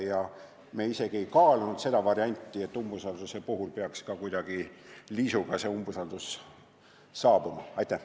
Ja me isegi ei kaalunud varianti, et umbusalduse avaldamise korral võiks otsus selguda kuidagi liisuga.